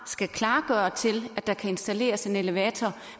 skal klargøre til at der kan installeres en elevator